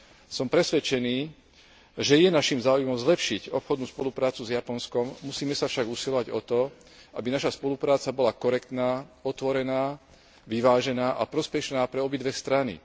Som presvedčený, že je naším záujmom zlepšiť obchodnú spoluprácu s Japonskom, musíme sa však usilovať o to, aby naša spolupráca bola korektná, otvorená, vyvážená a prospešná pre obidve strany.